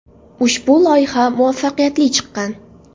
Ushbu loyiha muvaffaqiyatli chiqqan.